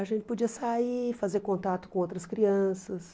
A gente podia sair, fazer contato com outras crianças.